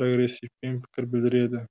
прогрессивпен пікір білдіреді